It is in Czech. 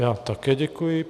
Já také děkuji.